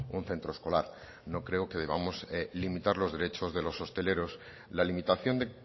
un centro escolar no creo que debamos limitar los derechos de los hosteleros la limitación de